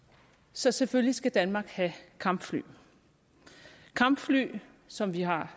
så selvfølgelig skal danmark have kampfly kampfly som vi har